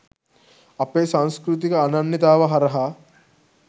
අපේ සංස්කෘතික අනන්‍යතාව හරහා